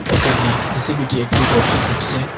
একানে জে_সি_পি_টি একটি গর্ত কুদসে।